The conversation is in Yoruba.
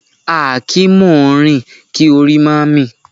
A kì í mọ ọn rìn kí orí má mì